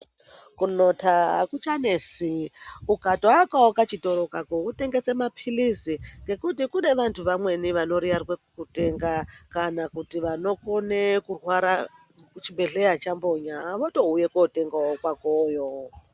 Kunota akucha nesi ukato akawo ka chitoro kako wotengese mapilizi nekuti kune vantu vamweni vano riyarwe kutenga kana kuti vanokone kurwara ku chibhedhleya chambonya voto uye kotengawo kwakoyo.